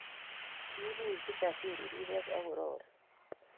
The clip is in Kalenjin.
Kiibuch Kijasiri rirek akorori